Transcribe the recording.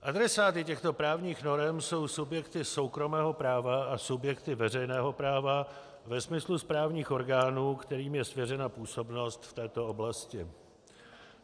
Adresáty těchto právních norem jsou subjekty soukromého práva a subjekty veřejného práva ve smyslu správních orgánů, kterým je svěřena působnost v této oblasti.